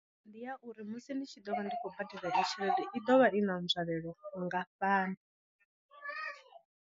Ndi ya uri musi ndi tshi ḓo vha ndi khou badela i tshelede i ḓo vha i na nzwalelo nngafhani.